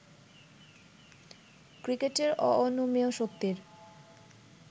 ক্রিকেটের অঅনুমেয় শক্তির